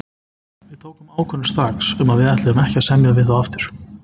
Við tókum ákvörðun strax um að við ætluðum ekki að semja við þá aftur.